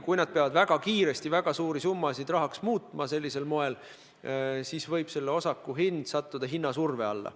Kui nad peavad väga kiiresti väga suuri summasid rahaks muutma, siis võib osaku hind sattuda hinnasurve alla.